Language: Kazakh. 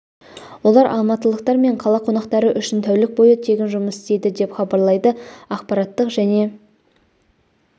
олар алматылықтар мен қала қонақтары үшін тәулік бойы тегін жұмыс істейді деп хабарлайды ақпараттық және